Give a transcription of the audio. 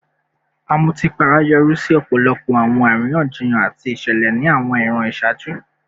Amutipara yori si ọpọlọpọ awọn ariyanjiyan ati awọn iṣẹlẹ ni awọn iran iṣaaju